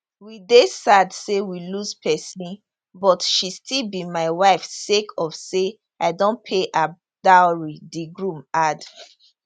we dey sad say we lose person but she still be my wife sake of say i don pay her dowry di groom add